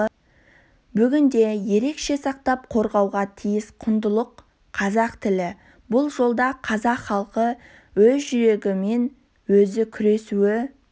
бүгінде ерекше сақтап қорғауға тиіс құндылық қазақ тілі бұл жолда қазақ халқы өз жүрегімен өзі күресуі